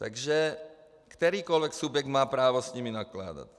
Takže kterýkoli subjekt má právo s nimi nakládat.